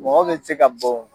Mɔgɔ bɛ se ka bon.